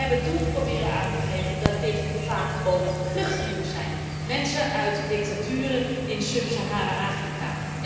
We hebben toen proberen aan te geven dat dit vaak ook vluchtelingen zijn, mensen uit dictaturen in Subsaharaans Afrika.